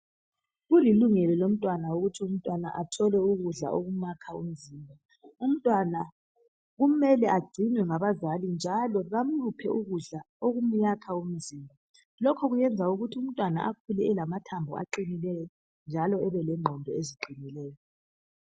Kulilungelo lomntwana ukuthi umntwana athole ukudla okumakha umzimba umntwana kumele agcinwe ngabazali njalo bamuphe ukudla okumyakha umzimba lokho kuyenza ukuthi umntwana akhule elamathambo aqinileyo njalo ebelengqondo eziqinileyo.